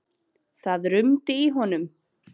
Það rumdi í honum.